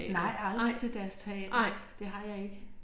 Nej aldrig til deres teater det har jeg ikke